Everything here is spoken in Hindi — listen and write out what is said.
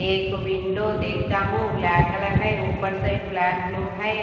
एक विंडो देखता हूं ब्लैक कलर है ऊपर साइड ब्लैक ब्लू है।